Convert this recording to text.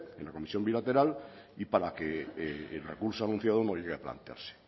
en la comisión bilateral y para que el recurso anunciado no llegue a plantearse